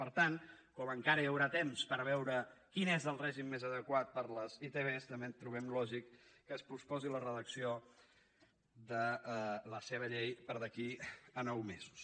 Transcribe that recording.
per tant com que encara hi haurà temps per veure quin és el règim més adequat per a les itv també trobem lògic que es posposi la redacció de la seva llei per d’aquí a nou mesos